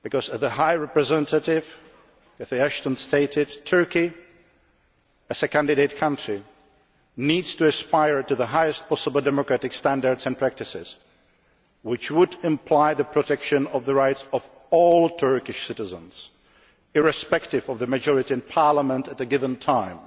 As the High Representative Cathy Ashton stated, Turkey as a candidate country needs to aspire to the highest possible democratic standards and practices, which would imply the protection of the rights of all Turkish citizens, irrespective of the majority in Parliament at a given time.